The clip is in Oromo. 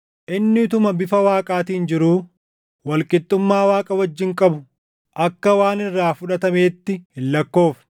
Inni utuma bifa Waaqaatiin jiruu, wal qixxummaa Waaqa wajjin qabu // akka waan irraa fudhatameetti hin lakkoofne;